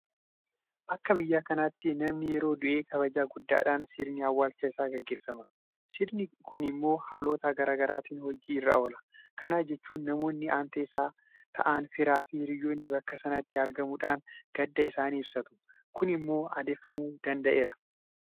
Akka biyya kanaatti namni yeroo du'e kabaja guddaadhaan sirni awwaalcha isaa gaggeeffama. Sirni kun immoo haalota garaa garaatiin hojii irra oola. Kana jechuun namoonni aantee isaa ta'an firaafi hiriyoonni bakka sanatti argamuudhaan gadda isaanii ibsatu. Kun immoo aadeffamuu danda'eera.